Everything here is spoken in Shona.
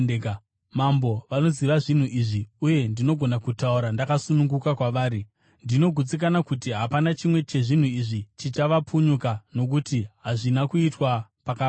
Mambo vanoziva zvinhu izvi, uye ndinogona kutaura ndakasununguka kwavari. Ndinogutsikana kuti hapana chimwe chezvinhu izvi chichavapunyuka, nokuti hazvina kuitwa pakavanda.